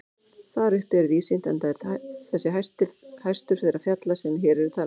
Þar uppi er víðsýnt enda er þessi hæstur þeirra fjalla sem hér eru talin.